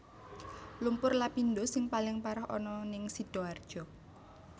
Lumpur Lapindosing paling parah ana ning Sidoarjo